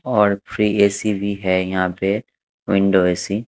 और fridge AC भी है यहां पे विंडो ए_सी --